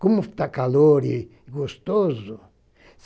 Como está calor e gostoso.